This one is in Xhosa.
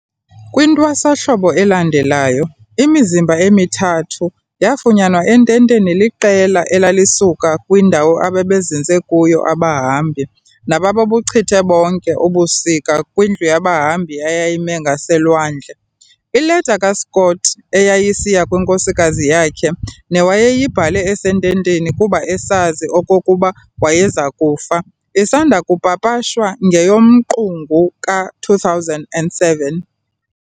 KwiNtwasahlobo elandelayo, imizimba emithathu yafunyanwa ententeni liqela elalisuka kwindawo ababezinze kuyo abahambi, nababebuchibonke ubusika kwindlu yabahambi eyayimi ngaselwandle. Ileta kaScott eyayisiya kwinkosikazi yakhe, newayeyibhale esententeni kuba esazi okokuba wayezakufa, isanda kupapashwa, ngeyoMqungu ka-2007.